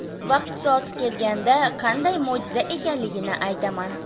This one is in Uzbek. Vaqti soati kelganda qanday mo‘jiza ekanligini aytaman.